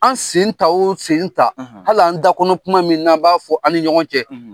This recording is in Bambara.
An sen ta o sen ta , hali an dakɔnɔ kuma min n'an b'a fɔ an ni ɲɔgɔn cɛ.